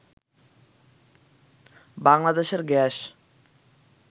বাংলাদেশের গ্যাস